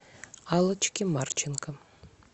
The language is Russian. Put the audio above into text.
аллочке марченко